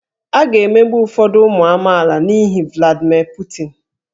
A ga-emegbu ụfọdụ ụmụ amaala n'ihi Vladimir Putin